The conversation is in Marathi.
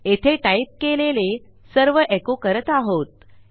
येथे टाईप केलेले सर्व एको करत आहोत